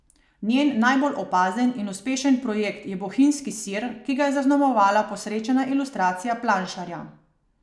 Njen najbolj opazen in uspešen projekt je Bohinjski sir, ki ga je zaznamovala posrečena ilustracija planšarja.